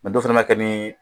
dɔw fana b'a kɛ ni